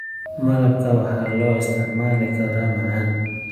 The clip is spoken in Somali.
Malabka waxaa loo isticmaali karaa macaan.